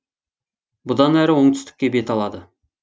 бұдан әрі оңтүстікке бет алады